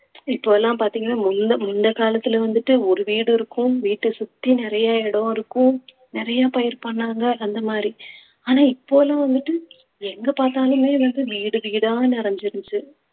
இப்போ எல்லாம் பார்த்தீங்கன்னா முந்~ முந்த காலத்திலே வந்துட்டு ஒரு வீடு இருக்கும் வீட்டை சுத்தி நிறைய இடம் இருக்கும் நிறைய பயிர் பண்ணாங்க அந்த மாதிரி ஆனா இப்போ எல்லாம் வந்துட்டு எங்க பார்த்தாலுமே வந்து வீடு வீடா நிறைஞ்சிருச்சு